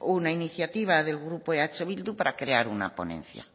una iniciativa del grupo eh bildu para crear una ponencia